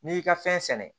N'i y'i ka fɛn sɛnɛ